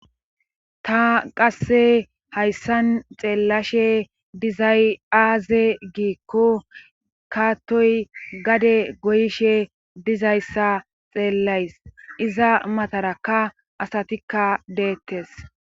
ta qasse hayssan xeellashe dizay aaze giikko kaattoy gade goyishe dizayssa xeellays iza matarakka asatikka deettes